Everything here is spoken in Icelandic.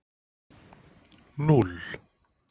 O